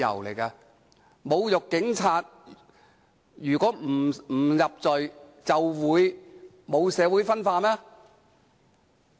難道侮辱警察不屬犯罪，社會便不會分化嗎？